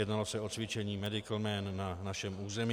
Jednalo se o cvičení MEDICAL MAN na našem území.